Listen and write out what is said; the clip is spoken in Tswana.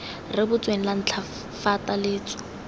rebotsweng la ntlha fa taletso